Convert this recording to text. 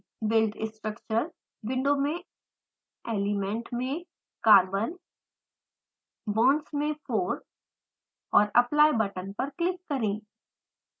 build structure window मे element में carbon bonds में 4 और apply बटन पर क्लिक करें